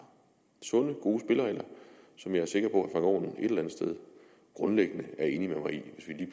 sunde gode spilleregler som jeg er sikker på at aaen et eller andet sted grundlæggende